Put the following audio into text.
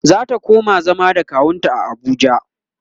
zata koma zama da kawunta a Abuja